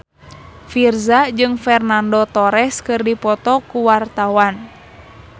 Virzha jeung Fernando Torres keur dipoto ku wartawan